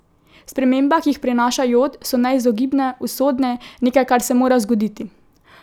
Spremembe, ki jih prinaša jod, so neizogibne, usodne, nekaj, kar se mora zgoditi.